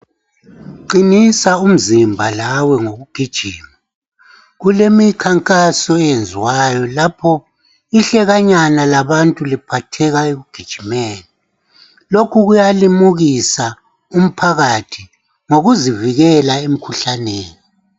Qinisa umzimba lawe ngokugijima .Kulemikhankaso eyenziwayo lapho ihlekanyana labantu liphatheka ekugijimeni. Lokhu kuyalimukisa umphakathi ngokuzivikela emikhuhlaneni.